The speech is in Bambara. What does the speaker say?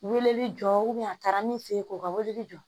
Weleli jɔ a taara min fe yen ko ka weleli jɔ